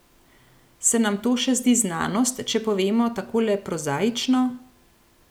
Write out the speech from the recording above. Se nam to še zdi znanost, če povemo takole prozaično?